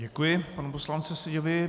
Děkuji panu poslanci Seďovi.